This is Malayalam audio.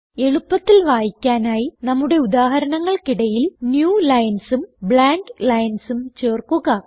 എളുപ്പത്തിൽ വായിക്കാനായി നമ്മുടെ ഉദാഹരണങ്ങൾക്കിടയിൽ newlinesഉം blanklinesഉം ചേർക്കുക